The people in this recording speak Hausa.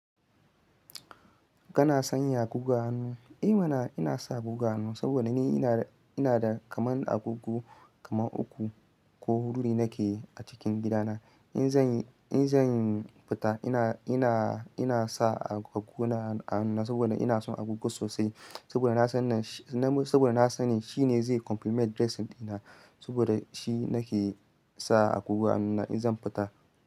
Kana sanya agogo a hannu? Emana, ina sa agogo a hannu saboda ni ina da kamar agogo kamar uku ko hudu da nake a cikin gidana. In zan, in zan fita ina, ina, ina sa agogona a hannu saboda ina son agogo sosai. Saboda na sani shi, saboda na sani shi ne zai compliment dressing dina saboda shi nake sa agogo a hannuna in zan fita.